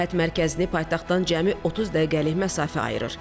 Bu istirahət mərkəzini paytaxtdan cəmi 30 dəqiqəlik məsafə ayırır.